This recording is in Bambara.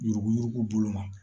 Yuruku yuruku bolo ma